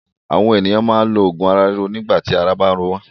Àwọn ènìyàn máa ń lo òògùn ara ríro nígbà tí ara bá ń ro wọ́n.